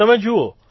તમે જુઓ